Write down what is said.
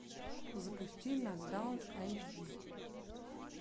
запусти нокдаун эйч ди